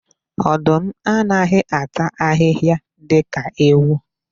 Ọdụm anaghị ata ahịhịa dika ewu.